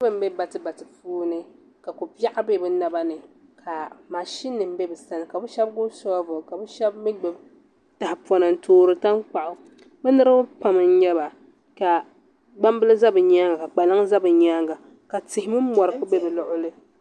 Niraba n bɛ bati bati puuni ka ko biɛɣu bɛ bi naba ni ka mashin nim bɛ bi sani ka bi shab gbubi soobuli ka bi shab mii gbubi tahapona n toori tankpaɣu bi niraba pam n nyɛba ka gbambili ʒɛ bi nyaanga ka kpalaŋ ʒɛ bi nyaanga ka tihi mini mori bɛ bi luɣuli ni